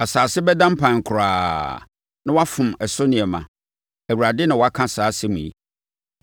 Asase bɛda mpan koraa, na wɔafom ɛso nneɛma. Awurade na waka saa asɛm yi.